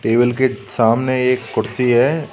Table के सामने एक कुर्सी है।